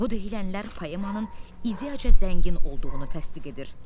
Bu deyilənlər poemanın ideyaca zəngin olduğunu təsdiq edir.